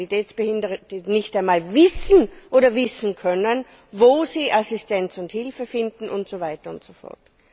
Mobilitätsbehinderte nicht einmal wissen oder herausfinden können, wo sie Assistenz und Hilfe finden, und so weiter und so fort.